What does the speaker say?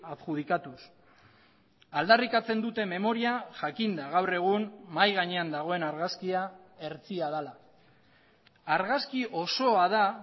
adjudikatuz aldarrikatzen dute memoria jakinda gaur egun mahai gainean dagoen argazkia hertsia dela argazki osoa da